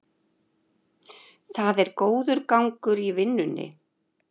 Það er góður gangur í vinnunni